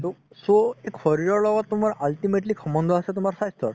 so শৰিৰৰ লগত তুমাৰ ultimately সম্বন্ধ আছে তুমাৰ স্বাস্থ্যৰ